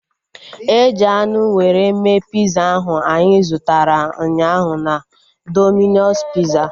Eji anụ were mee piza ahu anyị zụtara ụnyaahụ na Domino's piza